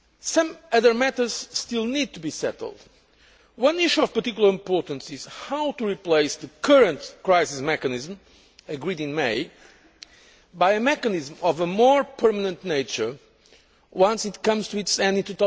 Some other matters still need to be settled. One issue of particular importance is how to replace the current crisis mechanism agreed in May with a mechanism of a more permanent nature once it comes to its end in